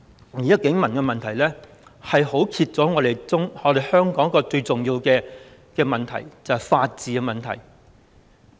現時警民的問題，揭開了香港一個最重要的問題，就是法治的問題。